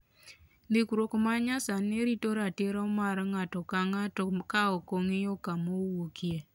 Ndikruok ma nyasani rito ratiro mag ng'ato ka ng'ato ka ok ong'iyo kama owuokie.